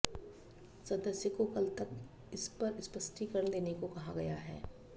सदस्य को कल तक इस पर स्पष्टीकरण देने को कहा गया है